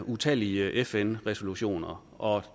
utallige fn resolutioner og